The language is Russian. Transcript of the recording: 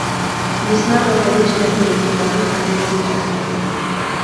весна на заречной улице хочу смотреть сейчас